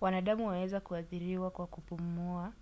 wanadamu waweza kuathiriwa kwa kupumua